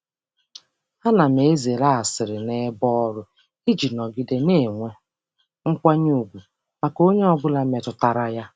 M na-ezere asịrị n’ebe ọrụ iji ọrụ iji nọgide na-enwe ọnọdụ nkwanye ùgwù maka onye ọ bụla metụtara.